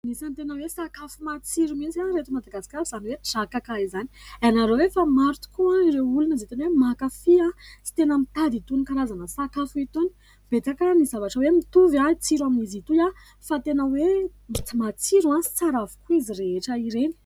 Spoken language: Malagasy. Anisany tena hoe sakafo matsiro mintsy ahy eto Madagasikara izany hoe Drakaka izany. Ianareo hoe fa maro tokoa ireo olona izay tena hoe mankafy ahy sy tena mitady itony karazana sakafo itony. Betsaka ny zavatra hoe mitovy ahy tsiro amin'izy itoy aho fa tena hoe matsiro ahy sy tsara avokoa izy rehetra ireny.